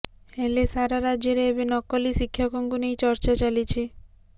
ହେଲେ ସାରା ରାଜ୍ୟରେ ଏବେ ନକଲି ଶିକ୍ଷକଙ୍କୁ ନେଇ ଚର୍ଚ୍ଚା ଚାଲିଛି